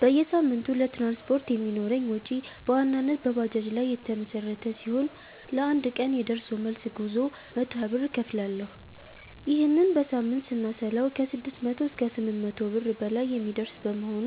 በየሳምንቱ ለትራንስፖርት የሚኖረኝ ወጪ በዋናነት በባጃጅ ላይ የተመሠረተ ሲሆን፣ ለአንድ ቀን የደርሶ መልስ ጉዞ 120 ብር እከፍላለሁ። ይህንን በሳምንት ስናሰላው ከ600 እስከ 800 ብር በላይ የሚደርስ በመሆኑ